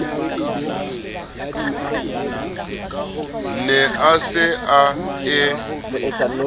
ne a se a e